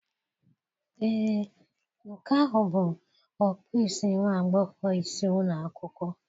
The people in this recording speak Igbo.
Ee, nke ahụ bụ okpu isi nwa agbọghọ isi ụlọ akwụkwọ.